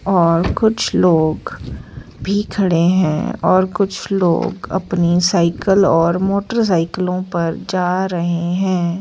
और कुछ लोग भी खड़े हैं और कुछ लोग अपनी साइकल और मोटर साइकिलों पर जा रहे है।